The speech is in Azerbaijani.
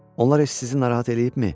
Onlar heç sizi narahat eləyibmi?